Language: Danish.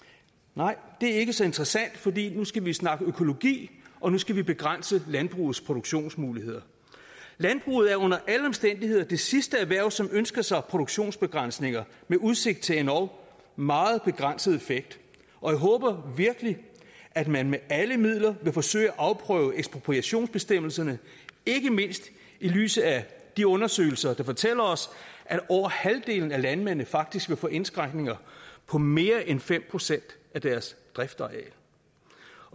nej det er ikke så interessant fordi nu skal vi snakke økologi og nu skal vi begrænse landbrugets produktionsmuligheder landbruget er under alle omstændigheder det sidste erhverv som ønsker sig produktionsbegrænsninger med udsigt til endog meget begrænset effekt jeg håber virkelig at man med alle midler vil forsøge at afprøve ekspropriationsbestemmelserne ikke mindst i lyset af de undersøgelser der fortæller os at over halvdelen af landmændene faktisk vil få indskrænkninger på mere end fem procent af deres driftsareal